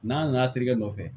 N'an nana terikɛ nɔfɛ